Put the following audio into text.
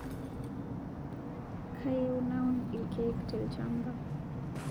Kayieu naun lkek telshamba